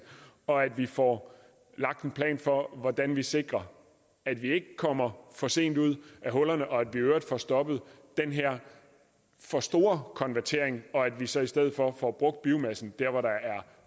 og at vi får lagt en plan for hvordan vi sikrer at vi ikke kommer for sent ud af hullerne og at vi i øvrigt får stoppet den her for store konvertering og at vi så i stedet for får brugt biomassen der hvor der er